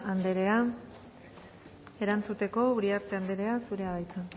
anderea erantzuteko uriarte anderea zurea da hitza